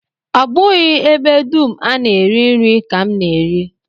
Ọ bụghị ebe dum a na-eri nri ka m na-eri